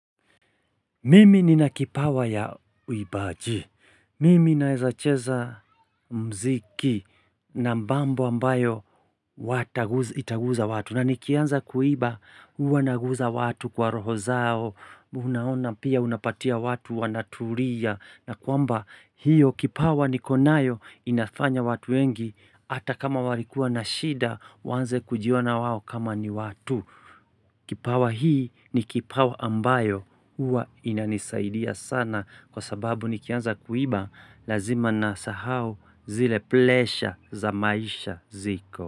Mimi nina kipawa ya uimbaji. Mimi naeza cheza mziki na mbambu ambayo itaguza watu. Na nikianza kuimba huwa naguza watu kwa roho zao. Unaona pia unapatia watu wanatulia na kwamba hiyo kipawa niko nayo inafanya watu wengi. Hata kama walikuwa na shida waanze kujiona wao kama ni watu. Kipawa hii ni kipawa ambayo huwa inanisaidia sana kwa sababu nikianza kuimba lazima nasahau zile plesha za maisha ziko.